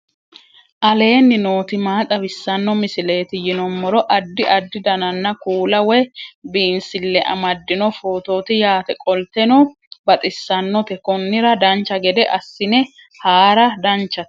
aleenni nooti maa xawisanno misileeti yinummoro addi addi dananna kuula woy biinsille amaddino footooti yaate qoltenno baxissannote konnira dancha gede assine haara danchate